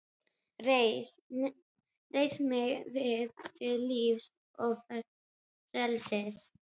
Reis mig við til lífs og frelsis!